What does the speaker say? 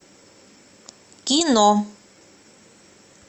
кино